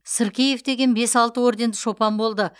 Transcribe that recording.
сыркеев деген бес алты орденді шопан болды